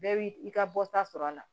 Bɛɛ b'i i ka bɔta sɔrɔ a la